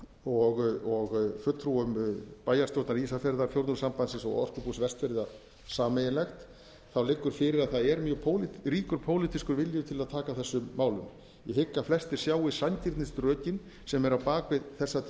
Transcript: og fulltrúum bæjarastjórnar ísafjarðar fjórðungssambandsins og orkubús vestfjarða sameiginleg liggur fyrir að það er mjög ríkur pólitískur vilji til að taka á þessum málum ég hygg að flestir sjái sanngirnisrökin sem eru á bak við þessa tillögu